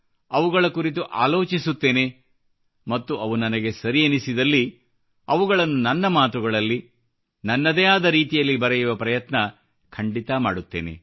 ಅವುಗಳ ಕುರಿತು ಆಲೋಚಿಸುತ್ತೇನೆ ಮತ್ತು ಅವು ನನಗೆ ಸರಿ ಎನಿಸಿದಲ್ಲಿ ಅವುಗಳನ್ನು ನನ್ನ ಮಾತುಗಳಲ್ಲಿ ನನ್ನದೇ ಆದ ರೀತಿಯಲ್ಲಿ ಬರೆಯುವ ಪ್ರಯತ್ನ ಖಂಡಿತಾ ಮಾಡುತ್ತೇನೆ